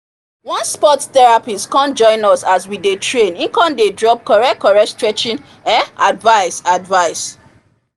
one sport therapist come join us as we dey train e come dey drop correct correct stretching um advice advice